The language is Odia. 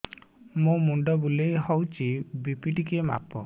ମୋ ମୁଣ୍ଡ ବୁଲେଇ ହଉଚି ବି.ପି ଟିକେ ମାପ